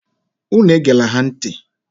Unu egela ha ntị!